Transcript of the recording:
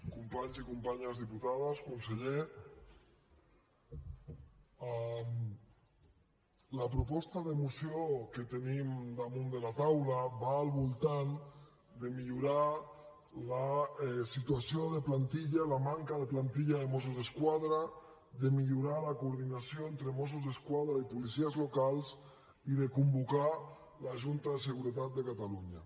companys i companyes diputades conseller la proposta de moció que tenim damunt de la taula va al voltant de millorar la situació de plantilla la manca de plantilla de mossos d’esquadra de millorar la coordinació entre mossos d’esquadra i policies locals i de convocar la junta de seguretat de catalunya